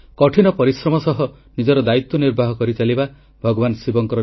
• 9 କୋଟି ପରିବାରକୁ ନିଜସ୍ୱ ଶୌଚାଳୟ ସୁବିଧା ଦେଶର 550ଲକ୍ଷରୁ ଅଧିକ ଗାଁ ଖୋଲାଶୌଚ ମୁକ୍ତ ଘୋଷିତ